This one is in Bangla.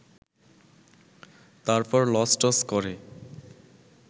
তারপর লসটস করে